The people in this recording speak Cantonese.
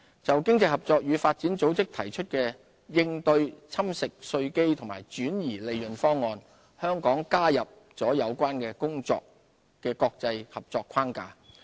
就經濟合作與發展組織提出的應對"侵蝕稅基及轉移利潤"方案，香港加入了有關工作的國際合作框架。